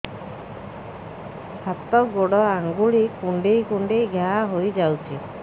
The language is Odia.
ହାତ ଗୋଡ଼ ଆଂଗୁଳି କୁଂଡେଇ କୁଂଡେଇ ଘାଆ ହୋଇଯାଉଛି